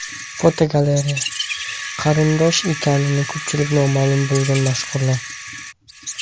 Fotogalereya: Qarindosh ekani ko‘pchilikka noma’lum bo‘lgan mashhurlar.